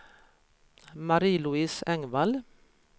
Marie-Louise Engvall